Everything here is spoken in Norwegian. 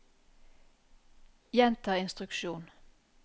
gjenta instruksjon